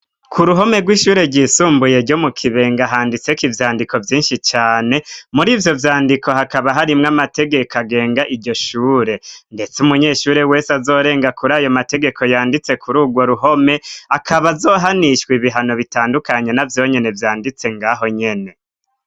K' ruhome rw'ishure ryisumbuye ryo mu Kibenga, handitseko ivyandiko vyinshi cane. Mur'ivyo vyandiko, hakaba harimwo amategeko agenga iryo shure, ndetse umunyeshure wese azorenga kuri ayo mategeko yanditse kuri urwo ruhome, akaba azohanishwa ibihano bitandukanye, na vyonyene vyanditse ng'aho nyene.